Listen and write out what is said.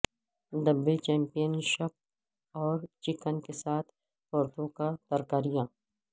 ڈبے championship اور chicken کے ساتھ پرتوں کا ترکاریاں